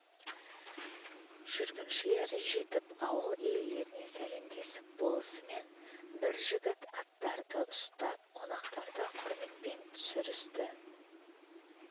жүргіншілер жетіп ауыл иелеріне сәлемдесіп болысымен бір жігіт аттарды ұстап қонақтарды құрметпен түсірісті